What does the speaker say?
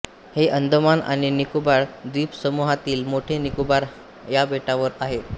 हे अंदमान आणि निकोबार द्वीपसमूहातील मोठे निकोबार या बेटावर आहे